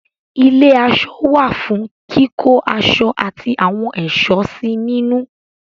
ilé-aṣọ wà fún kíkó aṣọ ati àwọn ẹ̀ṣọ́ sí nínú.